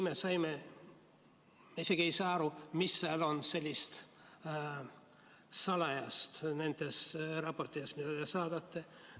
Me isegi ei saa aru, mis seal on sellist salajast nendes raportites, mida te saadate.